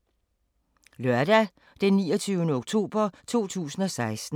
Lørdag d. 29. oktober 2016